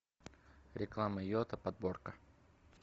реклама йота подборка